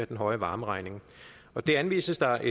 den høje varmeregning det anvises der